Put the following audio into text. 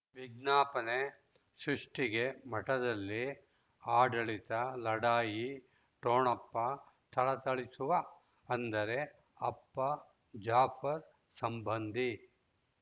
ವಿಜ್ಞಾಪನೆ ಸೃಷ್ಟಿಗೆ ಮಠದಲ್ಲಿ ಆಡಳಿತ ಲಢಾಯಿ ಠೊಣಪ ಥಳಥಳಿಸುವ ಅಂದರೆ ಅಪ್ಪ ಜಾಫರ್ ಸಂಬಂಧಿ